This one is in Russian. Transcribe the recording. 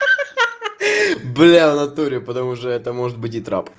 ха-ха бля в натуре потому что это может быть и трап